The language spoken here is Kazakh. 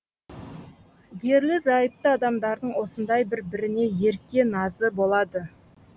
ерлі зайыпты адамдардың осындай бір біріне ерке назы болады